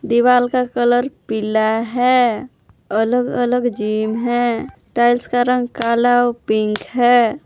दीवाल का कलर पीला है अलग-अलग जिम है टाइल्स का रंग काला और पिंक है।